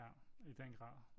Ja i den grad